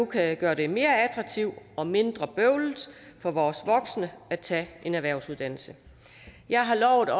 kan gøre det mere attraktivt og mindre bøvlet for vores voksne at tage en erhvervsuddannelse jeg har lovet